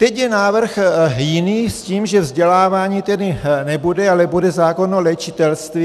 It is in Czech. Teď je návrh jiný, s tím, že vzdělávání tedy nebude, ale bude zákon o léčitelství.